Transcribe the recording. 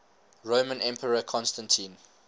roman emperor constantine